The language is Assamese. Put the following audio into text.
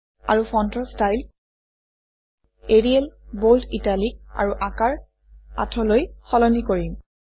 আৰু ফণ্টৰ ষ্টাইল এৰিয়েল বোল্ড ইটালিক আৰু আকাৰ ৮লৈ সলনি কৰিম